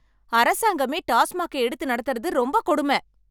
அரசாங்கமே டாஸ்மாக்க எடுத்து நடத்துறது ரொம்பக் கொடும.